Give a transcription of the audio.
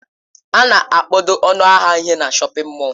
A na-akpado ọnụ ahịa ihe na shọpin mọll.